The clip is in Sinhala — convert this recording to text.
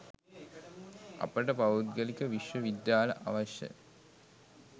අපට පෞද්ගලික විශ්ව විද්‍යාල අවශ්‍ය?